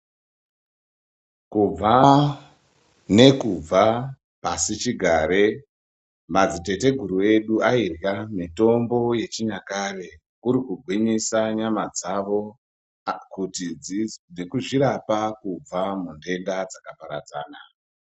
Kubva nekubva, pasichigare, madziteteguru edu ayidla mitombo yechinyakare, kurikugwinyisa nyama dzavo nekuzvirapa kubva mudenda dzakaparadzana.